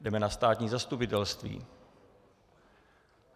Jdeme na státní zastupitelství.